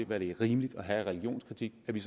hvad det er rimeligt at have af religionskritik at vi